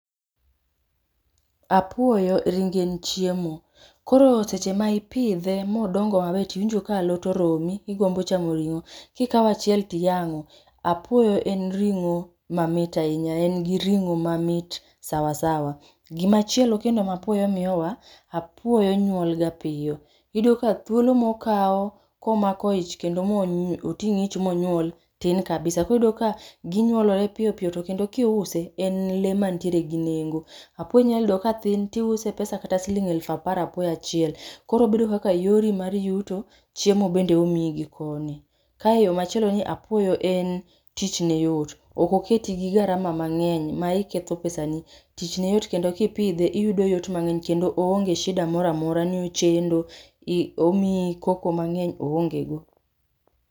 Apuoyo ringe en chiemo. Koro seche ma ipidhe modongo maber, tiwinjo ka alot oromi, igombo chamo ring'o. Kikao achiel tiyang'o. Apuoyo en ring'o mamit ahinya. En gi ring'o mamit sawasawa. Gimachielo kendo ma apuoyo miyowa, apuoyo nyuol ga piyo. Iyudo ka thuolo mokao komako ich kendo moting' ich monyuol, tin kabisa. Koro iyudo ka ginyuolore piyopiyo to kendo kiuse, en lee mantiere gi nengo. Apuoyo inyal yudo ka tin tiuse pesa kata siling eluf apar apuoyo achiel. Koro obedo kaka yori mar yuto, chiemo bende omii gi koni. Kae yo machielo ni apuoyo en tichne yot. Ok oketi gi garama mang'eny ma iketho pesa ni. Tich ne yot kendo kipidhe iyudo yot mang'eny kendo oonge shida moramora ni ochendo, omii koko mang'eny. Oonge go.